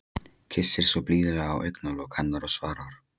Kyssir svo blíðlega á augnalok hennar og svarar: